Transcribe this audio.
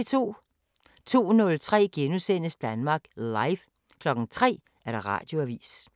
02:03: Danmark Live * 03:00: Radioavisen